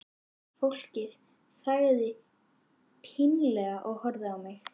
Fólkið þagði pínlega og horfði á mig.